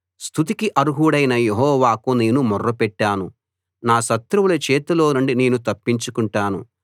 స్తుతికి అర్హుడైన యెహోవాకు నేను మొర్రపెట్టాను నా శత్రువుల చేతిలోనుండి నేను తప్పించుకుంటాను